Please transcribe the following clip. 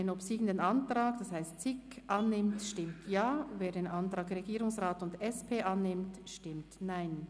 Wer den obsiegenden Antrag, das heisst den Antrag SiK, annimmt, stimmt Ja, wer den Antrag Regierungsrat und SP-JUSO-PSA annimmt, stimmt Nein.